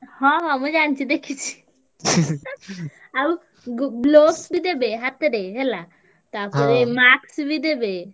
ହଁ ହଁ ମୁଁ ଜାଣିଚି ଦେଖିଚି। ଆଉ ଗୁ~ gloves ବି ଦେବେ ହାତରେ ହେଲା ତାପରେ mask ବି ଦେବେ।